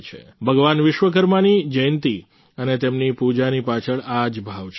ભગવાન વિશ્વકર્મા ની જયંતિ અને તેમની પૂજાની પાછળ આ જ ભાવ છે